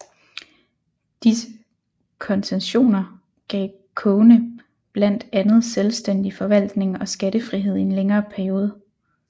Disse koncessioner gav kogene blandt andet selvstændig forvaltning og skattefrihed i en længere periode